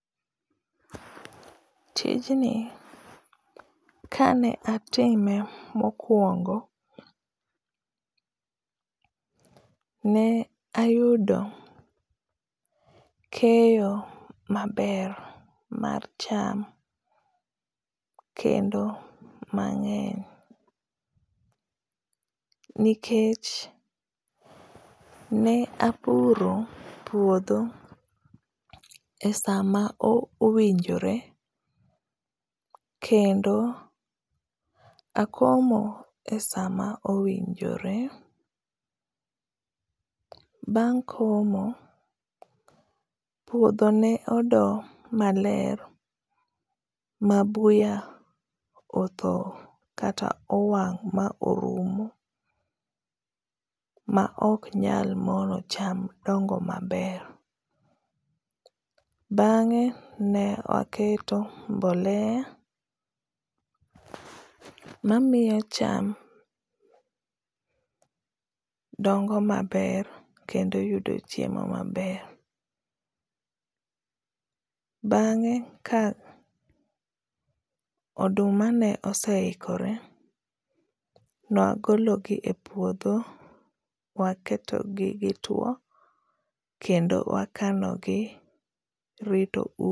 Tijni kane atime mokwongo ne ayudo keyo maber mar cham, kendo mangény. Nikech, ne apuro puodho e sama o owinjore, kendo akomo e sa ma owinjore. Bang' komo, puodho ne odo maler, ma buya otho, kata owang' ma orumo, ma oknyal mono cham dongo maber. Bangé ne aketo mbolea mamiyo cham dongo maber kendo yudo chiemo maber. Bangé ka oduma ne oseikore, ne wagolo gi e puodho, waketo gi gitwo, kendo wakano gi, rito